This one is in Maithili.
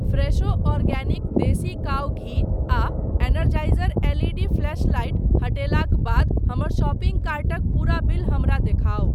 फ़्रेशो औरगैनिक देसी काऊ घी आ Energizer L E D flashlight हटेलाक बाद हमर शॉपिंग कार्टक पूरा बिल हमरा देखाउ।